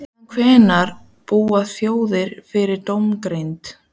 Síðan hvenær búa þjóðir yfir dómgreind?